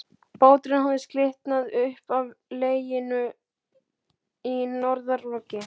Báturinn hafði slitnað upp af legunni í norðanroki.